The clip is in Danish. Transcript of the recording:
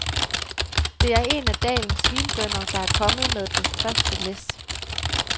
Det er en af dalens vinbønder, der er kommet med det første læs.